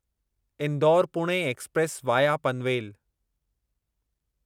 Indore Pune express via Panvel